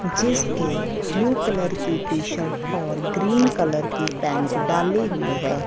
जिसके blue colour की T shirt और ग्रीन कलर की पैंट डाली हुई हैं।